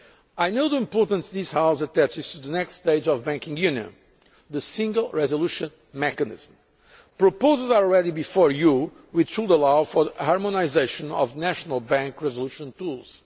I know the importance this House attaches to the next stage of banking union the single resolution mechanism. Proposals are already before you which should allow for the harmonisation of national bank resolution tools.